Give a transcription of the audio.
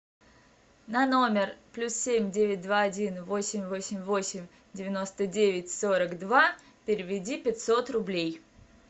на номер плюс семь девять два один восемь восемь восемь девяносто девять сорок два переведи пятьсот рублей